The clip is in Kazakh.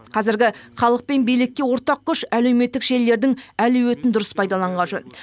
қазіргі халық пен билікке ортақ күш әлеуметтік желілердің әлеуетін дұрыс пайдаланған жөн